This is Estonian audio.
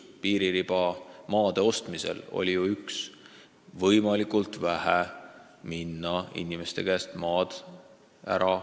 Piiririba maade ostmisel oli eesmärk ju üks: võimalikult vähe maad inimeste käest ära osta.